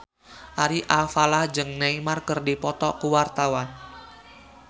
Ari Alfalah jeung Neymar keur dipoto ku wartawan